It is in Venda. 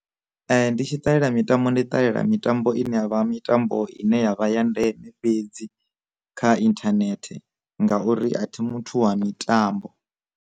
Ndi tshi ṱalela mitambo, ndi ṱalela mitambo ine yavha mitambo ine yavha ya ndeme fhedzi kha internet ngauri a thi muthu wa mitambo.